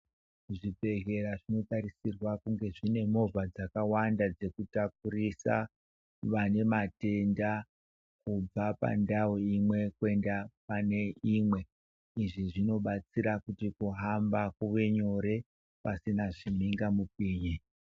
Zvibhedhleya zvinotarisirwa kuti zvinge zvine movha dzakawanda dzekutakurisa vane matenda kubva pandau imwe kwenda pane imwe. Izvi zvinobatsira kuti kuhamba kuvenyore pasina zvimhingamupinyi.